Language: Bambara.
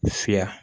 Fiya